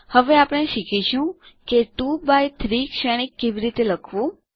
હવે આપણે શીખીશું કે 2 એક્સ 3 શ્રેણિક કેવી રીતે લખવું